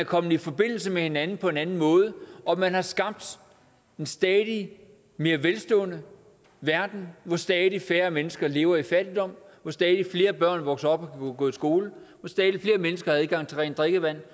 kommet i forbindelse med hinanden på en anden måde og at man har skabt en stadig mere velstående verden hvor stadig færre mennesker lever i fattigdom hvor stadig flere børn vokser op og kan gå i skole hvor stadig flere mennesker har adgang til rent drikkevand